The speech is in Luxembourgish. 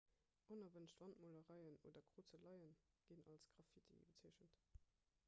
onerwënscht wandmolereien oder krozeleie ginn als graffiti bezeechent